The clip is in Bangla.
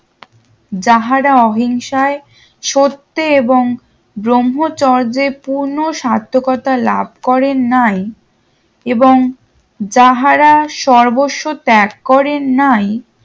যাহারা অহিংসায় শর্তে এবং ব্রহ্মচর্যের পূর্ণ সার্থকতা লাভ করেনাই এবং যাহারা সর্বত্ত ত্যাগ করেন নাই